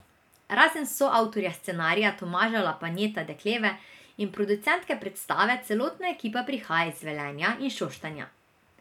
Razen soavtorja scenarija Tomaža Lapajneta Dekleve in producentke predstave celotna ekipa prihaja iz Velenja in Šoštanja.